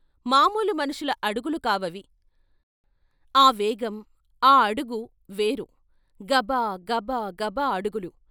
మామూలు మనుషుల అడుగులు కావవి ఆ వేగం ఆ అడుగు వేరు గబా గబా గబా అడుగులు.